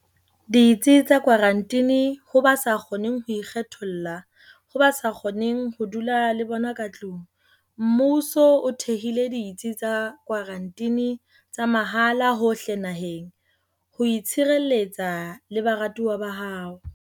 Ditsi tsa Kwaranteni Ho ba sa kgoneng ho ikgetholla ho bao ba dulang le bona ka tlung, mmuso o thehile ditsi tsa kwaranteni tsa mahala hohle naheng ho o tshireletsa le baratuwa ba hao.